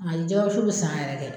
Ayi jɛgɛ wusu bɛ san yɛrɛ kɛ.